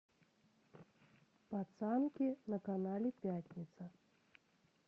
пацанки на канале пятница